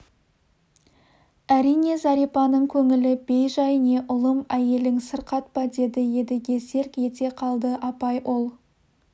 әрине зәрипаның көңілі бей-жай не ұлым әйелің сырқат па деді едіге селк ете қалды апай ол